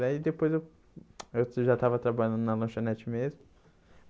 Daí depois eu eu que já estava trabalhando na lanchonete mesmo.